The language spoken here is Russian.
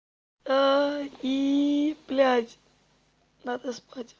и блядь надо спать